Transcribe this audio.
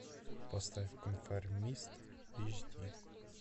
поставь конформист эйч ди